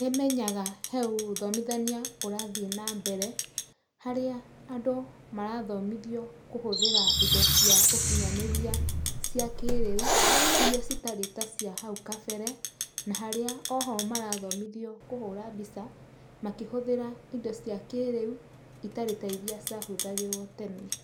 Nĩ menyaga he ũthomithania ũrathiĩ na mbere, harĩa andũ marathomithio kũhũthĩra indo cia ũkinyanĩria cia kĩrĩu, iria citarĩ ta cia hau kabere, na harĩa o ho marathomithio kũhũra mbica, makĩhũthĩra indo cia kĩrĩu itarĩ ta iria cia hũthagĩrwo tene.